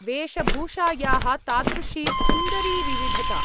वेषभूषायाः तादृशी सुन्दरी विविधता!